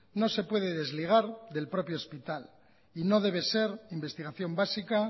no se puede desligar del propio hospital y no debe ser investigación básica